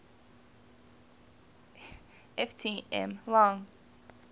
ft m long